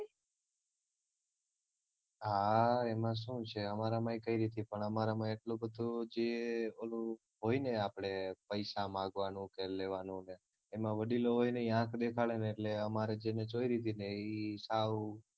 હા એમાં શું છે અમારામાં કઈ રીતનું છે અમારામાં એટલું બધું જે ઓલું હોય ને આપડે પૈસા માંગવાનું કે લેવાનું એમાં વડીલો હોય ને એ આંખ દેખાડે ને એટલે અમારે જેને ચોયરી હતીને ઈ સાવ